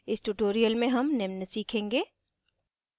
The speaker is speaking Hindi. इस tutorial में हम निम्न सीखेंगे